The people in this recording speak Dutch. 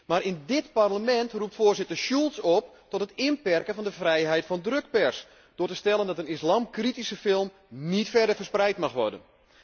Maar in dit Parlement roept Voorzitter Schulz op tot het inperken van de vrijheid van drukpers door te stellen dat een islamkritische film niet verder verspreid mag worden.